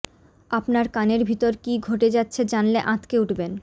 আপনার কানের ভিতর কী ঘটে যাচ্ছে জানলে আঁতকে উঠবেন